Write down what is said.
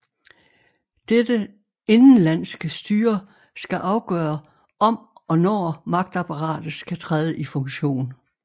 Dette indenlandske styre skal afgøre om og når magtapparatet skal træde i funktion